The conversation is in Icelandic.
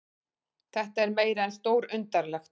Þetta er meira en stórundarlegt